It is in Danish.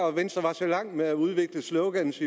at venstre er så langt med at udvikle slogans